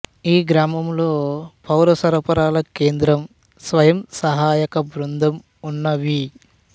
ఈ గ్రామంలో పౌర సరఫరాల కేంద్రం స్వయం సహాయక బృందం ఉన్నవి